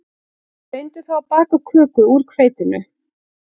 Reyndu þá að baka köku úr hveitinu